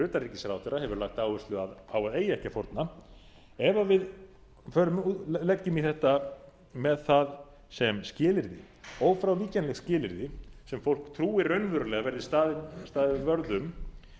utanríkisráðherra hefur lagt áherslu á að eigi ekki að fórna ef við leggjum í þetta með það sem skilyrði ófrávíkjanlegt skilyrði sem fólk trúir raunverulega að verði staðið vörð